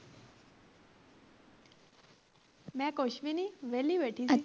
ਮੈ ਕੁੱਛ ਵੀ ਨੀ ਵਿਹਲੀ ਬੈਠੀ ਸੀ